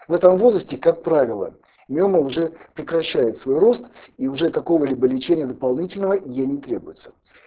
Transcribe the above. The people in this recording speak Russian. в этом возрасте как правила миома уже прекращает свой рост и уже какого-либо лечения дополнительного ей не требуется